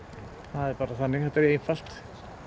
það er bara þannig þetta er einfalt